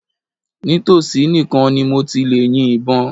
Nítòsí nìkan ni mo ti lè yin ìbọn.